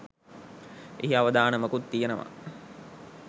එහි අවදානමකුත් තියෙනවා.